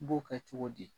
N b'o kɛ cogo di